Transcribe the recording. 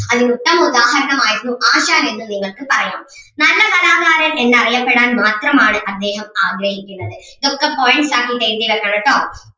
അതിനുത്തമ ഉദാഹരണം ആയിരുന്നു ആശാൻ എന്ന് നിങ്ങൾക്ക് പറയാം നല്ല കലാകാരൻ എന്ന് അറിയപ്പെടാൻ മാത്രം ആണ് അദ്ദേഹം ആഗ്രഹിക്കുന്നത് ഇതൊക്കെ points ആക്കിയിട്ട് എഴുതി വെക്കണോട്ടോ.